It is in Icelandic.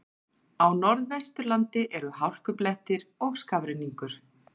Á Norðvesturlandi eru hálkublettir og skafrenningur